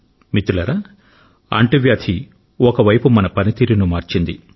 మిత్రులారా అంటువ్యాధి ఒకవైపు మన పని తీరును మార్చింది